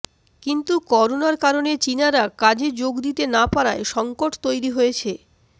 কিন্তু করোনার কারণে চীনারা কাজে যোগ দিতে না পারায় সংকট তৈরি হয়েছে